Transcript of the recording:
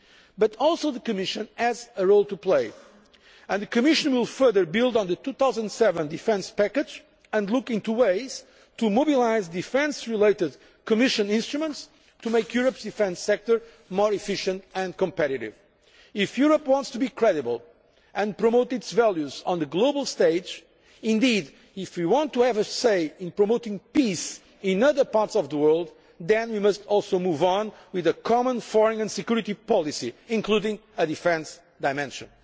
But the Commission also has a role to play, and will further build on the 2007 defence package and look into ways of mobilising defence related Commission instruments to make Europe's defence sector more efficient and competitive. If Europe wants to be credible and promote its values on the global stage, indeed if we want to have a say in promoting peace in other parts of the world, then we must also move on with a Common Foreign and Security Policy including a defence dimension.